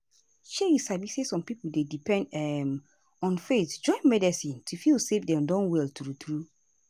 shey you sabi some pipo dey depend um on faith join medicine to feel say dem don well true true.